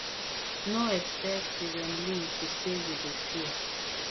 no expect di kremlin to say we dey fear